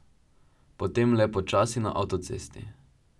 Potem le počasi na avtocesti.